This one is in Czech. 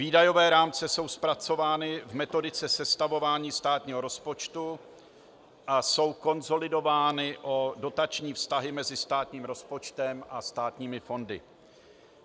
Výdajové rámce jsou zpracovány v metodice sestavování státního rozpočtu a jsou konsolidovány o dotační vztahy mezi státním rozpočtem a státními fondy.